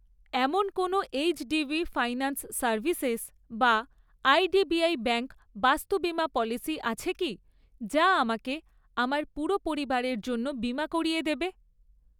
এমন কোনো HDB finance services বা আইডিবিআই ব্যাঙ্ক বাস্তু বিমা পলিসি আছে কি যা আমাকে আমার পুরো পরিবারের জন্য বিমা করিয়ে দেবে?